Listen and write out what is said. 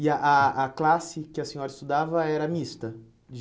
E a a a classe que a senhora estudava era mista?